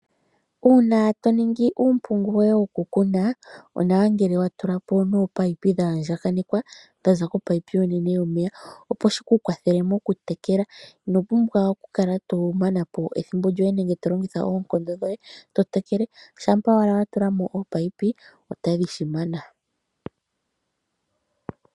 Uuna toningi uumpungu woye wokukuna onawa ngele wa tula po omiinino dha yandjakanekwa dha za komunino onene yomeya opo shi ku kwathele mokutekela, ino pumbwa oku kala to manapo ethimbo lyoye nenge tolengitha oonkondo dhoye totekele shampa owala watula mo oominino ota dhi shimana.